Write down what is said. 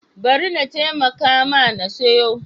Bari na taimaka ma na siyo.